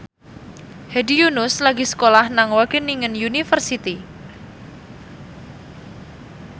Hedi Yunus lagi sekolah nang Wageningen University